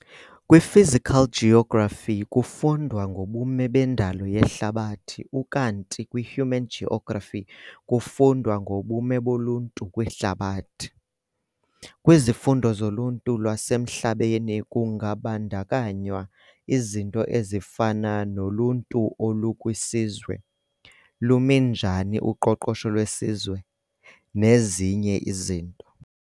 KwiPhysical geography kufundwa ngobume bendalo yehlabathi ukanti kwihuman geography kufundwa ngobume boluntu kwihlabathi. Kwizifundo zoluntu lwasemhlabeni kungabandakanywa izinto ezifana noluntuolukwisizwe, Lumi njani uqoqosho lwesizwe, nezinye izinto.